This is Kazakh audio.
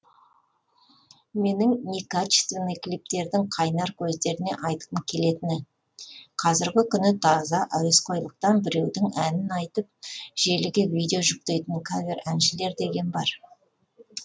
менің некачественный клиптердің қайнар көздеріне айтқым келетіні қазіргі күні таза әуесқойлықтан біреудің әнін айтып желіге видео жүктейтін кавер әншілер деген бар